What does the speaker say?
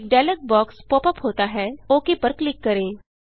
एक dialog box pop ups होता है ओक पर क्लिक करें